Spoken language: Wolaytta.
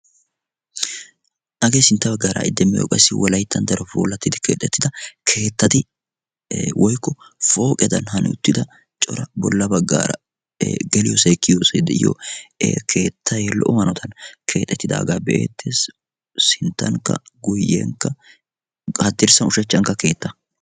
hagee sintta baggaara ha'i demmiyo wolaytta darotoo puulatidi keexxetida keettati woykko pooqedan hano uttida bolla baggaara geliyyoosay kiyiyyoosay de'iyo keettay lo''o hanotan keexxetiidaaga be'eettees. sinttankka guyyenkka, haddirssan ushachcankka keetta.